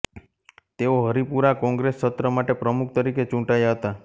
તેઓ હરીપુરા કોંગ્રેસ સત્ર માટે પ્રમુખ તરીકે ચૂંટાયા હતા